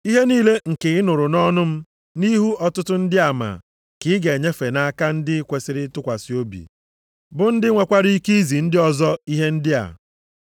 Ihe niile nke ị nụrụ nʼọnụ m nʼihu ọtụtụ ndị ama ka ị ga-enyefe nʼaka ndị kwesiri ntụkwasị obi, bụ ndị nwekwara ike izi ndị ọzọ ihe ndị a.